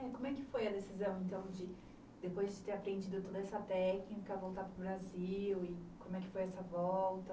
É, como é que foi a decisão, então, de depois de ter aprendido toda essa técnica, voltar para o Brasil e como é que foi essa volta?